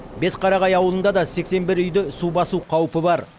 бесқарағай ауылында да сексен бір үйді су басу қаупі бар